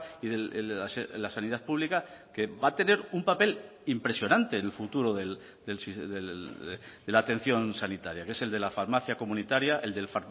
y la sanidad pública que va a tener un papel impresionante en el futuro de la atención sanitaria que es el de la farmacia comunitaria el del